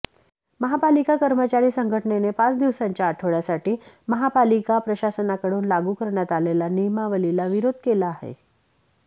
महापालिका कर्मचारी संघटनेने पाच दिवसांच्या आठवड्यासाठी महापालिका प्रशासनाकडून लागू करण्यात आलेल्या नियमावलीला विरोध केला आहे